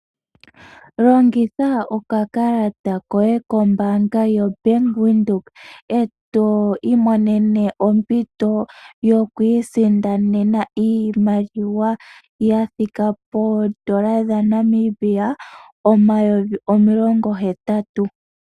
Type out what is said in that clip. Longitha okakalata koye kombanga yoBank Windhoek e to imonene ompito yokwiisindanena iimaliwa ya thika poondola dhaNamibia omayovi omilongo hetatu.